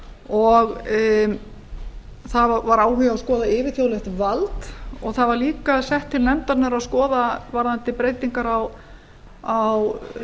og það var áhugi á að skoða yfirþjóðlegt vald og það var líka sett til nefndarinnar að skoða varðandi breytingar á